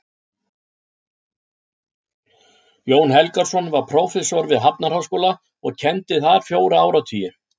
Jón Helgason var prófessor við Hafnarháskóla og kenndi þar fjóra áratugi.